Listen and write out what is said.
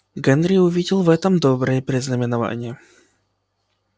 генри увидел в этом доброе предзнаменование